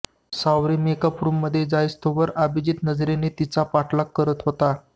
सावरी makeup रूममधे जाईस्तोवर अभिजीत नजरेने तिचा पाठलाग करत होता